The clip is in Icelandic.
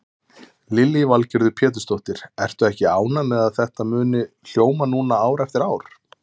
Lillý Valgerður Pétursdóttir: Ertu ekki ánægð með að þetta muni hljóma núna ár eftir ár?